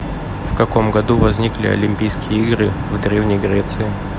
в каком году возникли олимпийские игры в древней греции